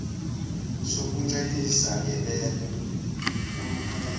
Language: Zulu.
sokuncelisa ngebele kulukhuni